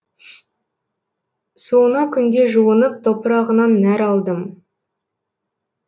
суына күнде жуынып топырағынан нәр алдым